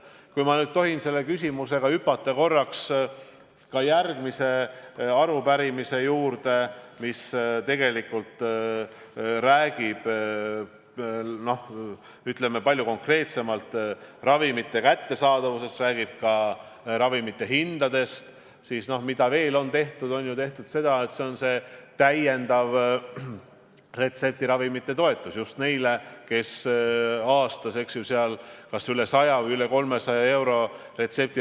Kui ma nüüd tohin selle küsimuse juurest hüpata korraks järgmise arupärimise juurde, mis käsitleb konkreetselt ravimite kättesaadavust, aga räägib ka ravimite hindadest, siis veel on ju tehtud seda, et on kehtestatud täiendav retseptiravimite toetus neile, kes tarbivad retseptiravimeid, mille maksumus on aastas kas üle 100 või üle 300 euro.